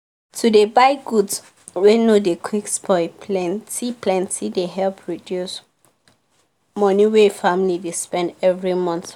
to dey buy goods wey no dey quick spoil plenty plenty dey help reduce money wey family dey spend every month